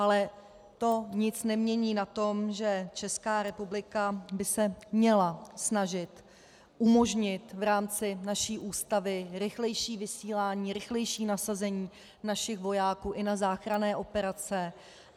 Ale to nic nemění na tom, že Česká republika by se měla snažit umožnit v rámci naší Ústavy rychlejší vysílání, rychlejší nasazení našich vojáků i na záchranné operace.